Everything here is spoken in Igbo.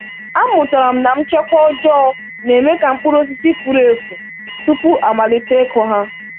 Amụtara m na nchekwa ọjọọ na-eme ka mkpụrụ osisi furu efu tupu e malite ịkụ ha.